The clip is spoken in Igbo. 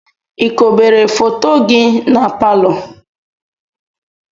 Ị kobere foto gị na palọ?